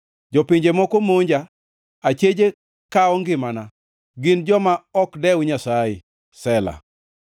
Jopinje moko monja; acheje kawo ngimana, gin joma ok dew Nyasaye. Sela